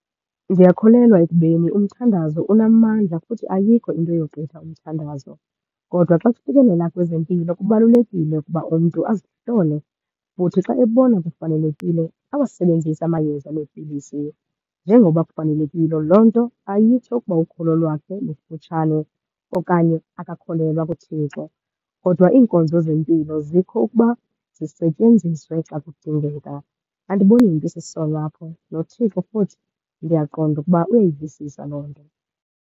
Ndiyakholelwa ekubeni umthandazo unamandla futhi ayikho into eyogqitha umthandazo. Kodwa xa kufikelela kwezempilo kubalulekile ukuba umntu azihlole, futhi xa ebona kufanelekile awasebenzise amayeza neepilisi njengoba kufanelekile. Loo nto ayitsho ukuba ukholo lwakhe lufutshane okanye akakholelwa kuThixo kodwa iinkonzo zempilo zikho ukuba zisetyenziswe xa kudingeka. Andiboni nto isisono apho noThixo futhi, ndiyaqonda ukuba uyayivisisa loo nto.